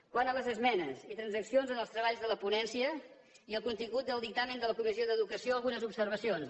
quant a les esmenes i transaccions en els treballs de la ponència i el contingut del dictamen de la comissió d’educació algunes observacions